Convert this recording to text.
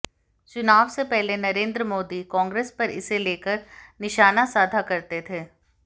चुनाव से पहले नरेंद्र मोदी कांग्रेस पर इसे लेकर निशाना साधा करते थे